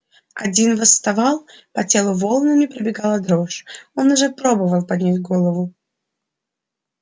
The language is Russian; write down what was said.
один восставал по телу волнами пробегала дрожь он уже пробовал поднять голову